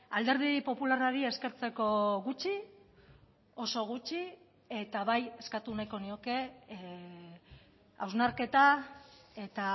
alderdi popularrari eskertzeko gutxi oso gutxi eta bai eskatu nahiko nioke hausnarketa eta